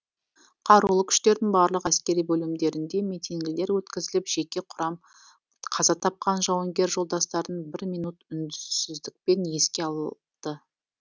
қарулы күштердің барлық әскери бөлімдерінде митингілер өткізіліп жеке құрам қаза тапқан жауынгер жолдастарын бір минут үнсіздікпен еске алды